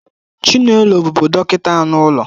Chinelo bụbu dọkịta anụ ụlọ